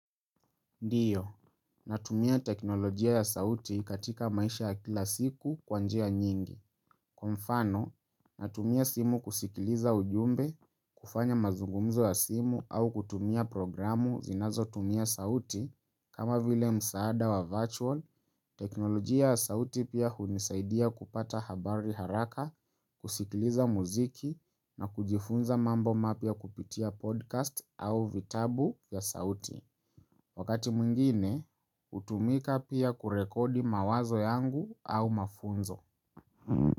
Ndio, natumia teknolojia ya sauti katika maisha ya kila siku kwa njia nyingi. Kwa mfano, natumia simu kusikiliza ujumbe, kufanya mazungumzo ya simu au kutumia programu zinazo tumia sauti, kama vile msaada wa virtual, teknolojia ya sauti pia hunisaidia kupata habari haraka, kusikiliza muziki na kujifunza mambo mapya kupitia podcast au vitabu ya sauti. Wakati mwingine, hutumika pia kurekodi mawazo yangu au mafunzo.